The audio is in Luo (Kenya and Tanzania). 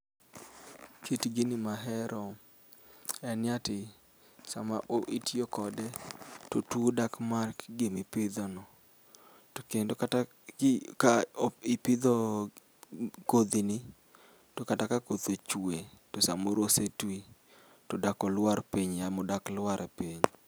Kit gini mahero enni ati sama oo itiyo kode totuo dak mak gimi ipidhono. Tokendo kata gi ka ipidho kodhini tokata ka koth ochue tosamoro osetwi todak olwar piny yamo dak lwar piny.